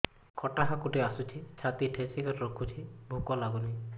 ଖଟା ହାକୁଟି ଆସୁଛି ଛାତି ଠେସିକରି ରଖୁଛି ଭୁକ ଲାଗୁନି